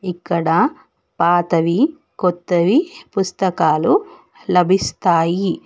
ఇక్కడ పాతవి కొత్తవి పుస్తకాలు లభిస్తాయి.